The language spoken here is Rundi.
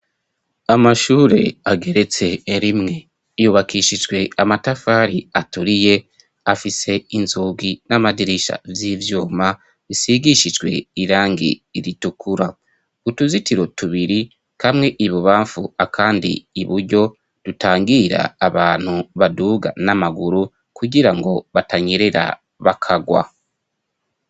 Amashure ageretse rimwe yubakishijwe amatafari aturiye, afise inzugi n'amadirisha vy'ivyuma bisigishijwe irangi ritukura. Utuzitiro tubiri? kamwe ibubamfu akandi iburyo, dutangira abantu baduga n'amaguru kugirango batanyerera bakagwa.